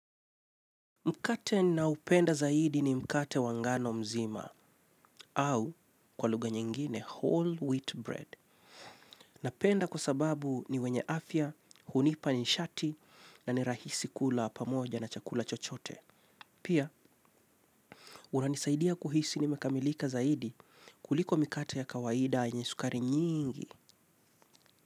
Mkate nao upenda zaidi ni mkate wa ngano mzima, au kwa lugha nyingine whole wheat bread. Napenda kwa sababu ni wenye afya, hunipa nishati na ni rahisi kula pamoja na chakula chochote. Pia, unanisaidia kuhisi ni mekamilika zaidi kuliko mikate ya kawaida yenye sukari nyingi.